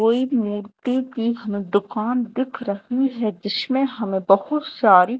कोई मिट्टी की दुकान दिख रही है जिसमें हमें बहुत सारी--